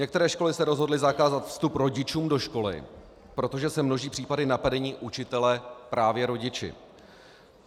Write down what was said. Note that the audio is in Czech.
Některé školy se rozhodly zakázat vstup rodičům do školy, protože se množí případy napadení učitele právě rodiči.